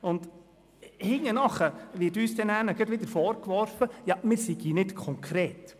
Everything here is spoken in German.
Hinterher wird uns dann gerade wieder vorgeworfen, wir seien nicht konkret.